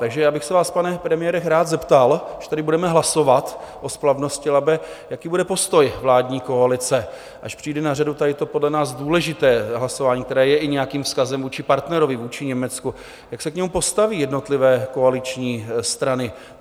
Takže já bych se vás, pane premiére, rád zeptal, až tady budeme hlasovat o splavnosti Labe, jaký bude postoj vládní koalice, až přijde na řadu tady to podle nás důležité hlasování, které je i nějakým vzkazem vůči partnerovi, vůči Německu, jak se k němu postaví jednotlivé koaliční strany?